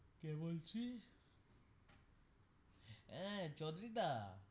কে বলছিস এ চৌধুরীদা.